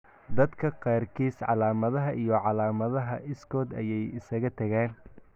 Dadka qaarkiis, calaamadaha iyo calaamadaha iskood ayay isaga tagaan.